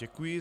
Děkuji.